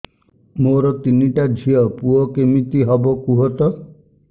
ମୋର ତିନିଟା ଝିଅ ପୁଅ କେମିତି ହବ କୁହତ